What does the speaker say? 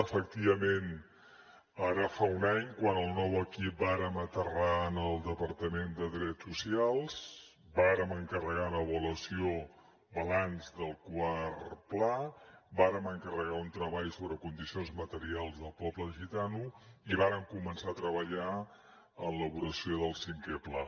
efectivament ara fa un any quan el nou equip vàrem aterrar en el departament de drets socials vàrem encarregar una avaluació balanç del quart pla vàrem encarregar un treball sobre condicions materials del poble gitano i vàrem començar a treballar en l’elaboració del cinquè pla